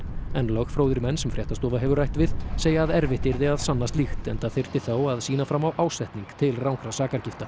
lögfróðir menn sem fréttastofa hefur rætt við segja að erfitt yrði að sanna slíkt enda þyrfti þá að sýna fram á ásetning til rangra